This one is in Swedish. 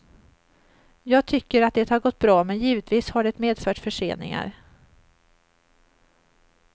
Jag tycker att det har gått bra, men givetvis har det medfört förseningar.